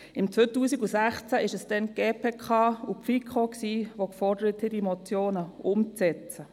Im Jahr 2016 waren es die GPK und die FiKo, welche die Umsetzung der Motionen forderten.